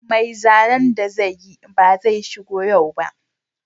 Mai zanen da zai yi ba zai shigo yau ba